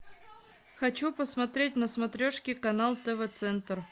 хочу посмотреть на смотрешке канал тв центр